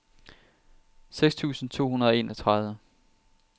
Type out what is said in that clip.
seks tusind to hundrede og enogtredive